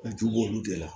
ju b'olu de la